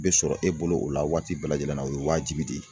Be sɔrɔ e bolo o la waati bɛɛ lajɛlen na o ye waajibi de ye.